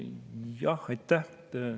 Jah, aitäh!